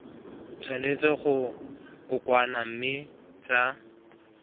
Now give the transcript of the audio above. tshwanetse go kokoanngwa mme tsa